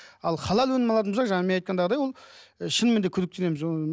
ал халал өнімін алатын болсақ жаңағы мен айтқандағындай ол шынымен де күдіктенеміз ыыы